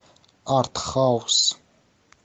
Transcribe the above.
артхаус